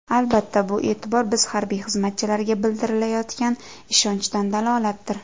Albatta, bu e’tibor biz harbiy xizmatchilarga bildirilayotgan ishonchdan dalolatdir.